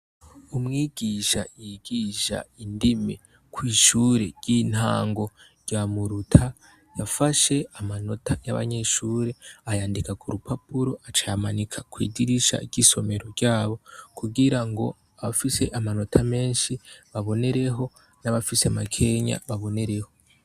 Umwigisha ryigisha indimi kwishure ry'intango rya muruta yafashe amanota yabanyeshure aryandika kurupapuro aca ayamanika kwidirisha y'isomero ryabo kugira ngo uwufise menshi abonereho n’uwufise make abonereho.